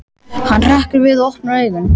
Hann hrekkur við og opnar augun.